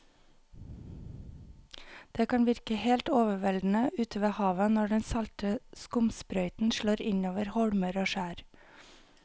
Det kan virke helt overveldende ute ved havet når den salte skumsprøyten slår innover holmer og skjær.